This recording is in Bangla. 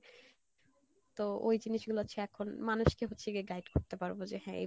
তো ওই জিনিস গুলো হচ্ছে এখন মানুষ কে হচ্ছে গিয়ে guide করতে পারবো যে হ্যাঁ